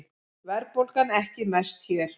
Verðbólgan ekki mest hér